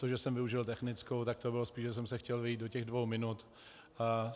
To, že jsem využil technickou, tak to bylo spíš, že jsem se chtěl vejít do těch dvou minut.